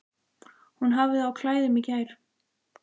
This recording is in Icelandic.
Hún hafði á klæðum í gær.